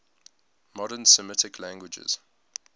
modern semitic languages